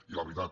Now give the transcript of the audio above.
i la veritat